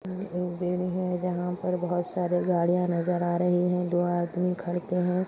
यह एक जहाँ पर बहुत सारे गाड़ियाँ नज़र आ रही है दो आदमी घर पे है।